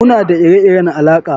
Muna da ire-iren alaƙa